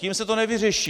Tím se to nevyřeší.